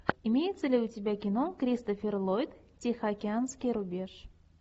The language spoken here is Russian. имеется ли у тебя кино кристофер ллойд тихоокеанский рубеж